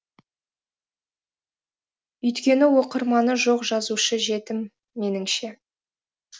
өйткені оқырманы жоқ жазушы жетім меніңше